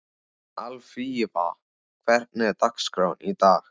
Alfífa, hvernig er dagskráin í dag?